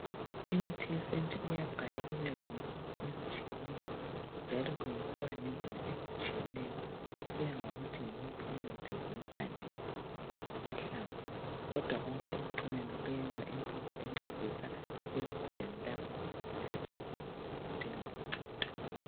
Imithi yesintu iyagaywa ibe zimpuphu ezitshiyeneyo njalo kwenziwa ngendlela ezitshiyeneyo kusiya ngokuthi yiwuphi umuthi, zimpande kumbe ngamahlamvu. Kodwa konke ekucineni kuyenza impuphu encedisa izigulane lapho zifika zidinga uncedo.